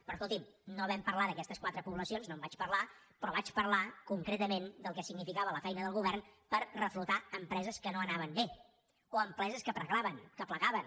però escolti’m no vam parlar d’aquestes quatre poblacions no en vaig parlar però vaig parlar concretament del que significava la feina del govern per reflotar empreses que no anaven bé o empreses que plegaven